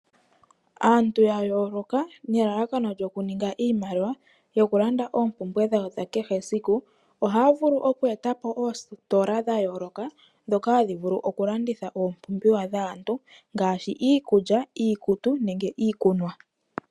Aantu ya yooloka nelalakano lyoku ninga iimaliwa yokulanda oompumbwe dhawo ohaya vulu oku eta po oositola dhokulanditha iipumbiwa yaantu ngaashi oku landitha iikulya, iikutu, iikunwa.